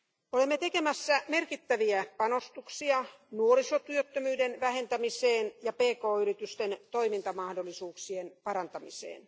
Olemme tekemässä merkittäviä panostuksia nuorisotyöttömyyden vähentämiseen ja pk yritysten toimintamahdollisuuksien parantamiseen.